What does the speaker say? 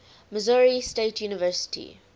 missouri state university